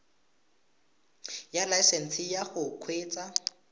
ya laesesnse ya go kgweetsa